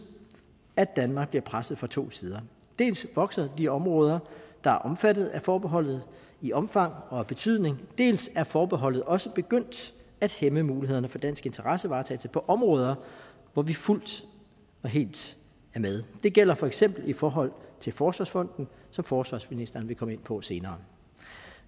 at danmark bliver presset fra to sider dels vokser de områder der er omfattet af forbeholdet i omfang og betydning dels er forbeholdet også begyndt at hæmme mulighederne for dansk interessevaretagelse på områder hvor vi fuldt og helt er med det gælder for eksempel i forhold til forsvarsfonden som forsvarsministeren vil komme ind på senere